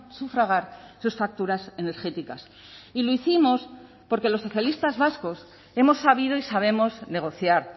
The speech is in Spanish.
sufragar sus facturas energéticas y lo hicimos porque los socialistas vascos hemos sabido y sabemos negociar